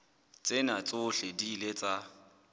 tsena tsohle di ile tsa